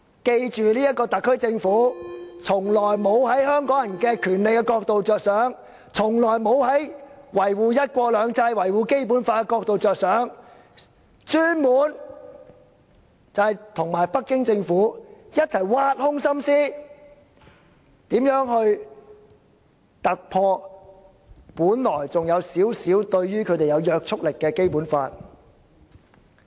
記住這個特區政府從來沒有從維護香港人權利的角度着想，從來沒有從維護"一國兩制"、《基本法》的角度着想，專門與北京政府一起挖空心思，思量如何突破本來對他們還有少許約束力的《基本法》。